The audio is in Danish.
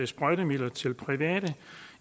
sprøjtemidler til private